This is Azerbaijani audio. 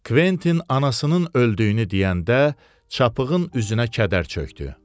Kventin anasının öldüyünü deyəndə, çapığın üzünə kədər çökdü.